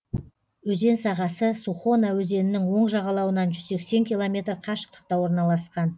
өзен сағасы сухона өзенінің оң жағалауынан жүз сексен километр қашықтықта орналасқан